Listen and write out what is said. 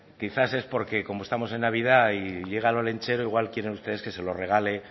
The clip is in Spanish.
quizás es porque como estamos en navidad y llega el olentzero igual quieren ustedes que se lo regale